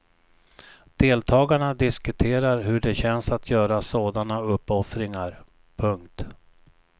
Deltagarna diskuterar hur det känns att göra sådana uppoffringar. punkt